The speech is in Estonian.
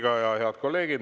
Head kolleegid!